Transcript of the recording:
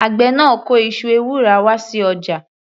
Àgbẹ̀ náà kó iṣu ewùrà wá sí ọjà.